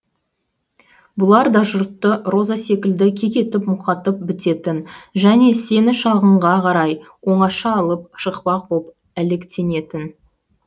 бұлар да жұртты роза секілді кекетіп мұқатып бітетін және сені шалғынға қарай оңаша алып шықпақ боп әлектенетін